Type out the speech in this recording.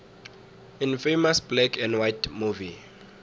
infamous black and white movie